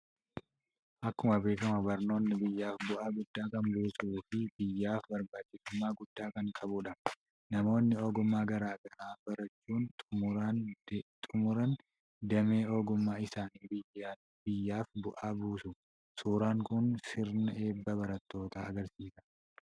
Akkuma beekamu barnoonni biyyaaf bu'aa guddaa kan buusuu fi biyyaaf barbaachisummaa guddaa kan qabudha. Namoonni ogummaa gara garaa barachuun xumuraan damee ogummaa isaaniin biyyaaf bu'aa buusu. Suuraan kun sirna eebba barattootaa agarsiisa.